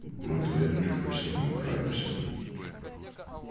мы вдвоём легко с ними управимся